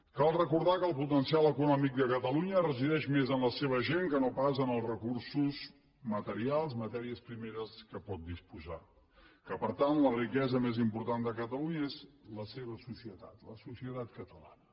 cal recordar que el potencial econòmic de catalunya resideix més en la seva gent que no pas en els recursos materials matèries primeres de què pot disposar que per tant la riquesa més important de catalunya és la seva societat la societat catalana